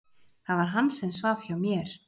Það var hann sem svaf hjá mér!